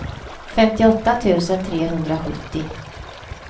femtioåtta tusen trehundrasjuttio